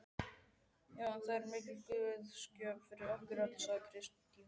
Já, það er mikil guðsgjöf fyrir okkur öll, sagði Kristín.